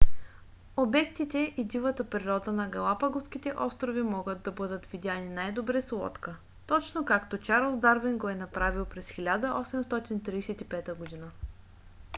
обектите и дивата природа на галапагоските острови могат да бъдат видяни най-добре с лодка точно както чарлз дарвин го е направил през 1835 г